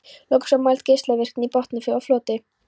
Loks var mæld geislavirkni í botnfalli og floti.